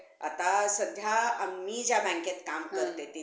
तर माझा दूसर topic आहे the book which change my life आणि म्हणजेच जे पुस्तक ज्याने आपले माझ